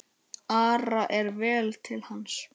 Ara er vel til hans.